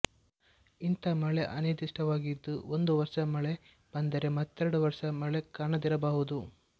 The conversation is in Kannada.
ಇಂಥ ಮಳೆ ಅನಿರ್ದಿಷ್ಟವಾಗಿದ್ದು ಒಂದು ವರ್ಷ ಮಳೆ ಬಂದರೆ ಮತ್ತೆರೆಡು ವರ್ಷ ಮಳೆ ಕಾಣದಿರಬಹುದು